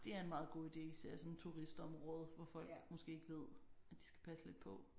Det er en meget god ide især i sådan et turistområde hvor folk måske ikke ved at de skal passe lidt på